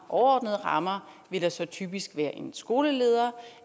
overordnede rammer vil der så typisk være en skoleleder